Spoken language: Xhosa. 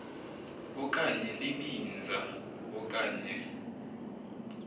okanye libinza okanye